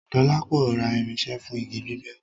Dọlápọ̀ rá irinṣẹ́ fún igi gbígbẹ́